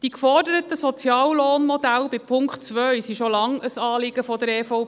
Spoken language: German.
Die geforderten Soziallohnmodelle von Punkt 2 sind schon lange ein Anliegen der EVP.